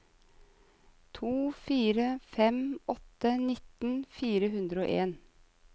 to fire fem åtte nitten fire hundre og en